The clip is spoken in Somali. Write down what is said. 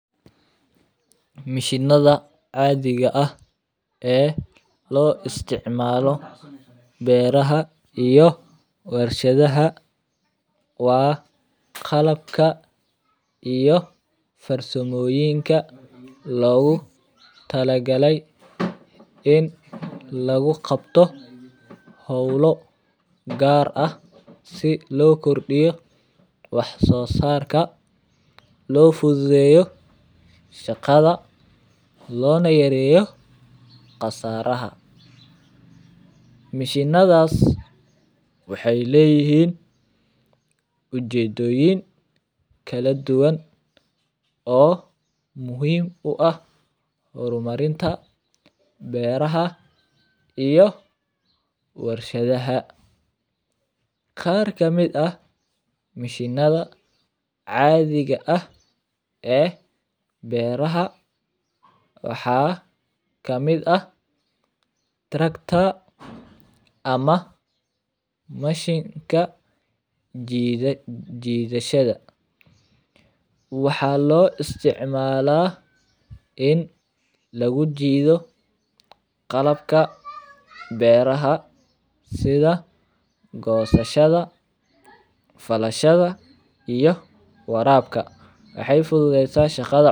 Mishinada caadiga ah ee loo isticmaalo beeraha iyo warshadaha waa qalabka iyo farsamooyonka loogu tala galay in lagu qabto howlo gaar ah si loo kordiyo wax soo saarka loo fududeeyo shaqada loona yareeyo khasaraha, mishinadaas waxeey leeyihiin ujeedoyin kala duwan oo muhiim u ah hor marinta beeraha iyo warshadaha, qaar kamid ah mishinada caadiga ah ee beeraha waxaa kamid ah tracta ama mashinka jidashada, waxaa loo isticmaala in lagu jiido qalabka beeraha sida gosashada, falashada iyo waraabka, waxeey fududeysa shaqada.